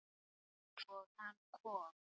Og hann kom.